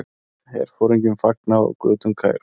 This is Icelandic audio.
Herforingjum fagnað á götum Kaíró.